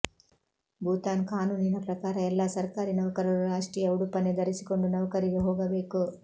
ಭೂತಾನ್ ಕಾನೂನಿನ ಪ್ರಕಾರ ಎಲ್ಲ ಸರ್ಕಾರಿ ನೌಕರರು ರಾಷ್ಟ್ರೀಯ ಉಡುಪನ್ನೇ ಧರಿಸಿಕೊಂಡು ನೌಕರಿಗೆ ಹೋಗಬೇಕು